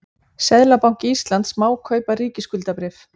Seðlabanki Íslands má kaupa ríkisskuldabréf.